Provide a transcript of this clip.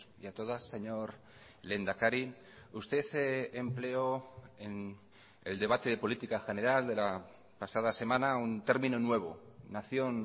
y a todas señor lehendakari usted empleó en el debate de política general de la pasada semana un término nuevo nación